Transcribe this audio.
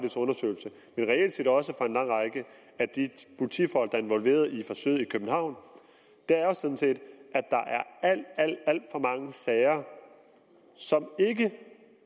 i og reelt set også af en lang række af de politifolk der er involveret i forsøget i københavn at der er alt alt for mange sager som ikke